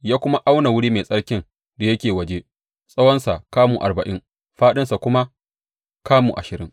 Ya kuma auna wuri mai tsarkin da yake waje; tsawonsa kamu arba’in fāɗinsa kuma kamu ashirin.